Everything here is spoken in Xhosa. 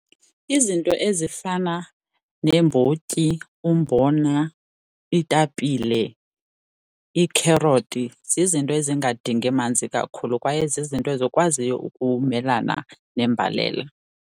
Izinto ezifana neembotyi, umbona, iitapile, iikherothi zizinto ezingadingi manzi kakhulu kwaye zizinto ezikwaziyo ukumelana nembalela.